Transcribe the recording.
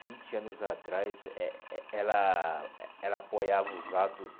vinte anos atrás, eh eh ela ela apoiava os atos